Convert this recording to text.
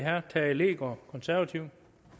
her